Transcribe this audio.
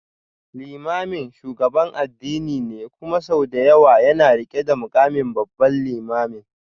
Limamin shugaban addini ne kuma sau da yawa yana rike da mukamin Babban Limamin.